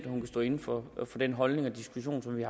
hun kan stå inde for den holdning og diskussion som vi